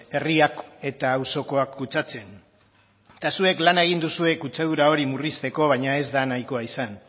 herriak eta auzokoak kutsatzen eta zuek lana egin duzue kutsadura hori murrizteko baina ez da nahikoa izan